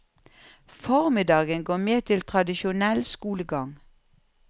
Formiddagen går med til tradisjonell skolegang.